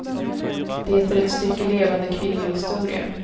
Det är ett stycke levande kvinnohistoria.